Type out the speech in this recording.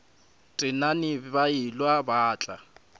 tenane ba elwa ba tla